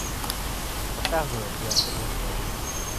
показывай беатрис за ужином